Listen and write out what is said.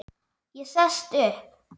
Ég sest upp.